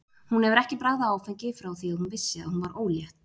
Hún hefur ekki bragðað áfengi frá því að hún vissi að hún var ólétt.